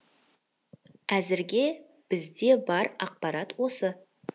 әзірге бізде бар ақпарат осы